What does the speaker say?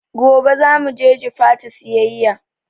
Gobe zamu je Jifatu siyayya